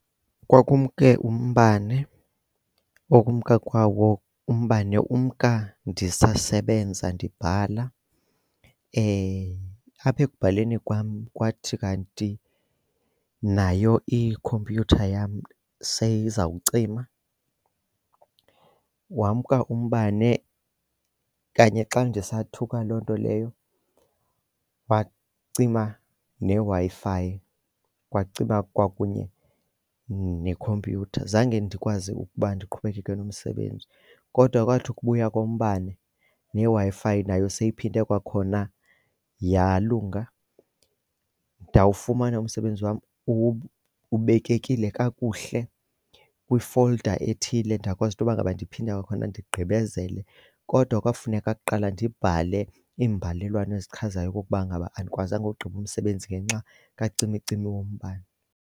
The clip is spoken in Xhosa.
Kwakumke umbane. Ukumka kwawo umbane umka ndisasebenza ndibhatala. Apha ekubhaleni kwam kwathi kanti nayo ikhompyutha yam seyizawucima wamka umbane. Kanye xa ndisathuka loo nto leyo kwacima neWi-Fi, kwakucima kwakunye nekhompyutha. Zange ndikwazi ukuba ndiqhubekeke nomsebenzi. Kodwa kwathi ukubuya kombane neWi-Fi nayo seyiphinde kwakhona yalunga, ndawufumana umsebenzi wam ubekekile kakuhle kwi-folder ethile ndakwazi intoba ngaba ndiphinde kwakhona ndigqibezele. Kodwa kwafuneka kuqala ndibhale imbalelwano ezichazayo okukuba ngaba andikwazanga ukugqiba umsebenzi ngenxa kacimicimi wombane.